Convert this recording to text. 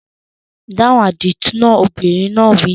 Dáhùn àdìtú náà! Obìnrin náà wí.